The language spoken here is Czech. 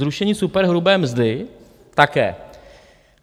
Zrušení superhrubé mzdy také.